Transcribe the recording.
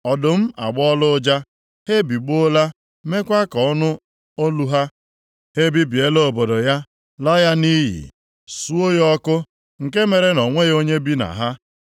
Ọdụm agbọọla ụja, ha ebigbọọla meekwa ka ọ nụ olu ha. Ha ebibiela obodo ya laa ya nʼiyi, suo ya ọkụ, nke mere na o nweghị onye bi na ha.